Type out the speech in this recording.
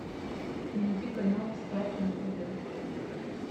найди канал старт на тв